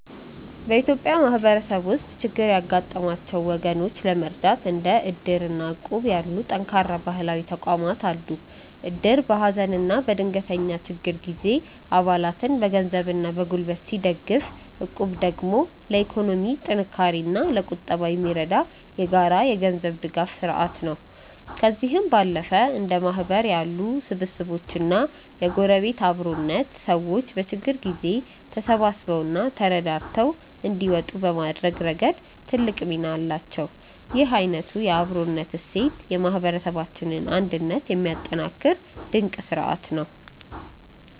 በኢትዮጵያ ማህበረሰብ ውስጥ ችግር ያጋጠማቸውን ወገኖች ለመርዳት እንደ እድር እና እቁብ ያሉ ጠንካራ ባህላዊ ተቋማት አሉ። እድር በሀዘንና በድንገተኛ ችግር ጊዜ አባላትን በገንዘብና በጉልበት ሲደግፍ፣ እቁብ ደግሞ ለኢኮኖሚ ጥንካሬና ለቁጠባ የሚረዳ የጋራ የገንዘብ ድጋፍ ስርአት ነው። ከእነዚህም ባለፈ እንደ ማህበር ያሉ ስብስቦችና የጎረቤት አብሮነት፣ ሰዎች በችግር ጊዜ ተሳስበውና ተረዳድተው እንዲወጡ በማድረግ ረገድ ትልቅ ሚና አላቸው። ይህ አይነቱ የአብሮነት እሴት የማህበረሰባችንን አንድነት የሚያጠናክር ድንቅ ስርአት ነው።